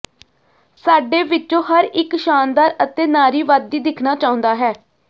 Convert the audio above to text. ਸਾਡੇ ਵਿੱਚੋਂ ਹਰ ਇੱਕ ਸ਼ਾਨਦਾਰ ਅਤੇ ਨਾਰੀਵਾਦੀ ਦਿਖਣਾ ਚਾਹੁੰਦਾ ਹੈ